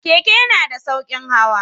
Keke yana da sauƙin hawa.